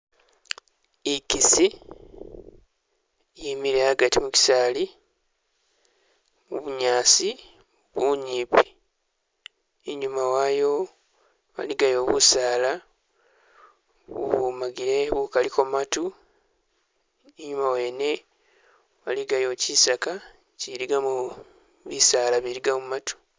Ikisi yimile agati mukisaali mubunyaasi bunyipi inyuma wayo waligayo busaala bu bwomagile bukaliko matu inyuma wene waligayo kyisaka kyiligamo bisaala biligamo matu